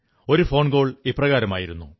ഒരു ഫോകോൾ ഇപ്രകാരമായിരുന്നു